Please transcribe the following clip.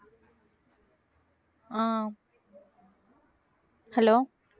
ஆஹ் hello